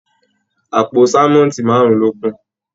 Àpò sánmọ́ntì márùn lo kù.